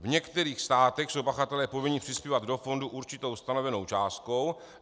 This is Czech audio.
V některých státech jsou pachatelé povinni přispívat do fondu určitou stanovenou částkou.